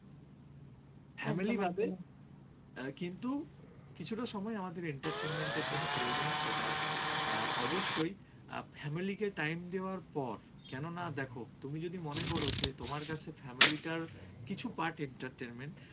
কিছুটা সময় আমাদের entertainment এর জন্য প্রয়োজন সেটা অবশ্যই family কে time দেওয়ার পর কেননা দেখো তুমি যদি মনে কর যে তোমার কাছে family টাও কিছু part entertainment